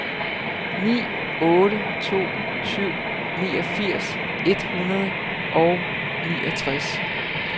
ni otte to syv niogfirs et hundrede og niogtres